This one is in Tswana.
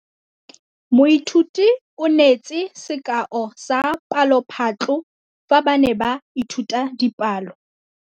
Moithuti o neetse sekaô sa palophatlo fa ba ne ba ithuta dipalo.